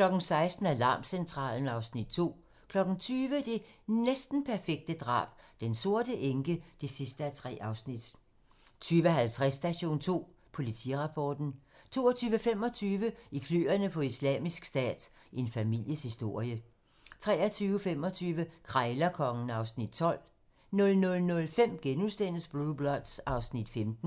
16:00: Alarmcentralen (Afs. 2) 20:00: Det næsten perfekte drab - Den sorte enke (3:3) 20:50: Station 2: Politirapporten 22:25: I kløerne på Islamisk Stat - en families historie 23:25: Krejlerkongen (Afs. 12) 00:05: Blue Bloods (Afs. 15)*